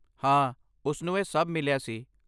ਹਾਂ, ਉਸ ਨੂੰ ਇਹ ਸਭ ਮਿਲਿਆ ਸੀ।